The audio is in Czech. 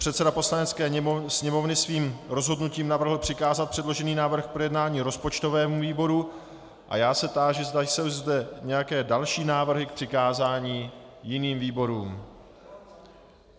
Předseda Poslanecké sněmovny svým rozhodnutím navrhl přikázat předložený návrh k projednání rozpočtovému výboru, a já se táži, zda jsou zde nějaké další návrhy k přikázání jiným výborům.